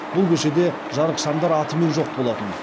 бұл көшеде жарық шамдар атымен жоқ болатын